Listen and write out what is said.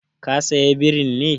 Ka saya birin ne?